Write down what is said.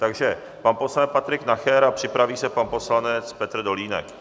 Takže pan poslanec Patrik Nacher a připraví se pan poslanec Petr Dolínek.